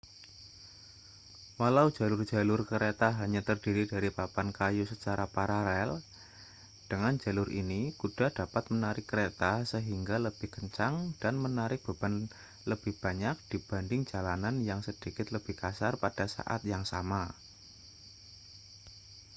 walau jalur-jalur kereta hanya terdiri dari papan kayu secara paralel dengan jalur ini kuda dapat menarik kereta sehingga lebih kencang dan menarik beban lebih banyak dibanding jalanan yang sedikit lebih kasar pada saat yang sama